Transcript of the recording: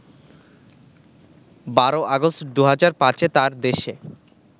১২ আগস্ট ২০০৫ এ তাঁর দেশে